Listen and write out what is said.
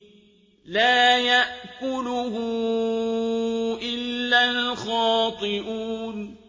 لَّا يَأْكُلُهُ إِلَّا الْخَاطِئُونَ